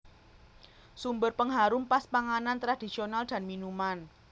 Sumber pengharum pas panganan tradisional dan minuman